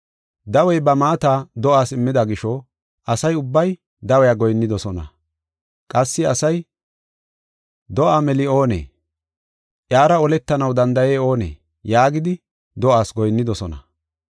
Dawey ba maata do7aas immida gisho asa ubbay dawiya goyinnidosona. Qassi asay, “Do7aa meli oonee? Iyara oletanaw danda7ey oonee?” yaagidi do7aas goyinnidosona.